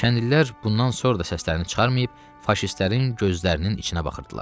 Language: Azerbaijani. Kəndlilər bundan sonra da səslərini çıxarmayıb, faşistlərin gözlərinin içinə baxırdılar.